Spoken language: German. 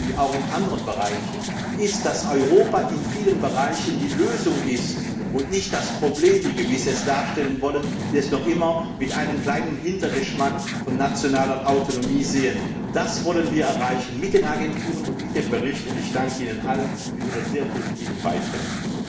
und auch in anderen Bereichen fest, dass Europa in vielen Bereichen die Lösung ist und nicht das Problem, wie manche es darstellen wollen, die es noch immer mit einem kleinen Hintergeschmack von nationaler Autonomie sehen. Das wollen wir mit den Agenturen und mit dem Bericht erreichen, und ich danke Ihnen allen für Ihre sehr positiven Beiträge.